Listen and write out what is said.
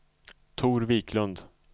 Tor Wiklund